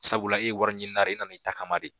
Sabula e ye wari ɲinina de ye e nana i ta kama de.